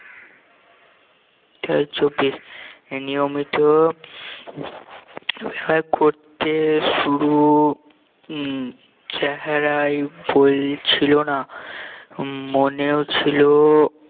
নিয়মিত আশা করতে শুরু উম চেহারায় বল ছিল না উম মেনেও ছিল